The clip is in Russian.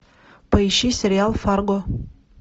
поищи сериал фарго